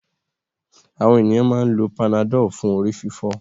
Àwọn ènìyàn máa ń lo Panadol fún orí-fífọ́.